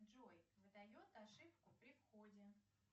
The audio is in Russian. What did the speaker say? джой выдает ошибку при входе